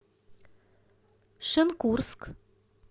шенкурск